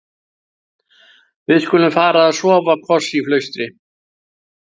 Við-skulum-fara-að-sofa-koss í flaustri.